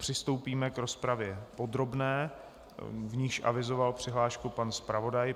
Přistoupíme k rozpravě podrobné, v níž avizoval přihlášku pan zpravodaj.